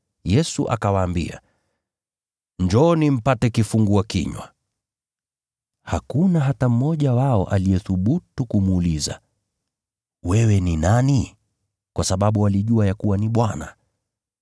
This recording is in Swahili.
Yesu akawaambia, “Njooni mpate kifungua kinywa.” Hakuna hata mmoja wa wanafunzi aliyethubutu kumuuliza, “Wewe ni nani?” Kwa sababu walijua ya kuwa ni Bwana.